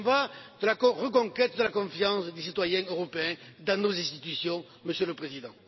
Il y va de la reconquête de la confiance des citoyens européens dans nos institutions, Monsieur le Président.